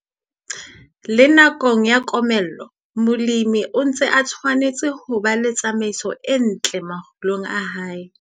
Le nakong ya komello, molemi o ntse a tshwanetse ho ba le tsamaiso e ntle makgulong a hae.